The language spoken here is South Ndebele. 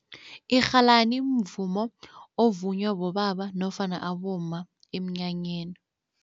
Irhalani mvumo ovunywa bobaba nofana abomma emnyanyeni.